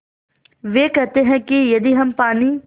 वे कहते हैं कि यदि हम पानी